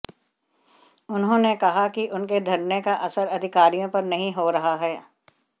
उन्होंने कहा कि उनके धरने का असर अधिकारियों पर नहीं हो रहा है